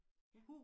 Ja